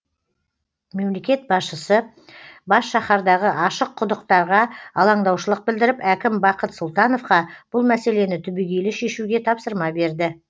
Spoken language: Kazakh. мемлекет басшысы бас шаһардағы ашық құдықтарға алаңдаушылық білдіріп әкім бақыт сұлтановқа бұл мәселені түбегейлі шешуге тапсырма берді